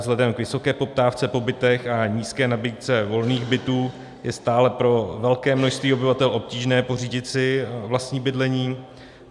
Vzhledem k vysoké poptávce po bytech a nízké nabídce volných bytů je stále pro velké množství obyvatel obtížné pořídit si vlastní bydlení.